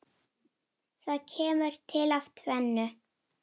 Það kemur til af tvennu.